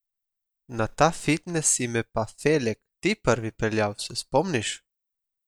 Na ta fitnes si me pa, Felek, ti prvi peljal, se spomniš?